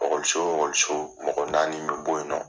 wo mɔgɔ naani bɛ bɔ yen nɔ.